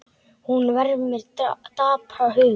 Hún vermir dapran huga.